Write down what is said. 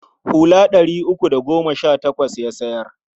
Hula ɗari uku da goma sha takwas ya sayar.